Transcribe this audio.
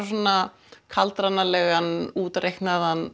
svona kaldranalegan útreiknaðan